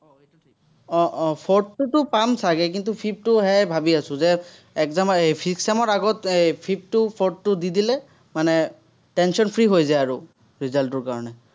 আহ আহ fourth টোতো পাম চাগে, কিন্তু, fifth টোহে ভাৱি আছো যে একদম এৰ fifth sem ৰ আগত এৰ fifth টো fourth টো দি দিলে, মানে tension-free হৈ যায় আৰু, result টোৰ কাৰণে